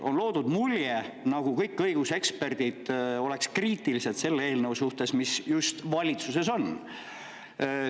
On loodud mulje, nagu kõik õiguseksperdid oleks kriitilised selle eelnõu suhtes, mis just praegu valitsuses on.